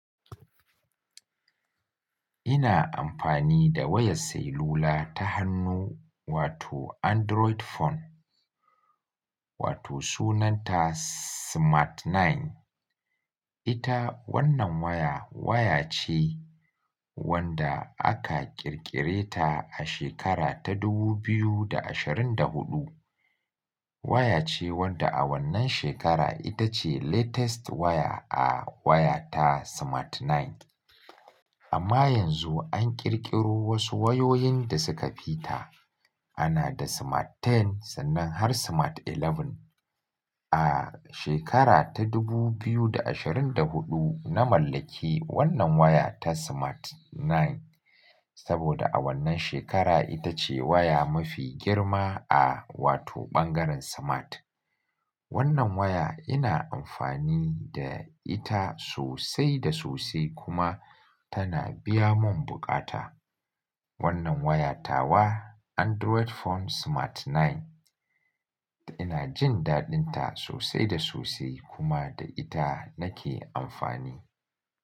Ina amfani da wayar Sailula ta hannu wato Android phone, wato sunanta Smart 9. Ita wannan waya, waya ce wanda aka ƙirƙire ta a shekara ta 2024. Waya ce wadda a wannan shekara ita ce latest waya a waya ta Smart 9. Amma yanzu an ƙirƙiro wasu wayoyin da suka fita. Ana da Smart 10 sannan har Smart 11. A shekara ta 2024, na mallaki wannan waya ta Smart 9 saboda a wannan shekara ita ce waya mafi girma a wato ɓangaren Smart. Wannan waya ina amfani da ita sosai da sosai kuma tana biya mun buƙata. Wannan wayata wa Android phone Smart 9. Ina jin daɗinta sosai da sosai kuma da ita nake amfani.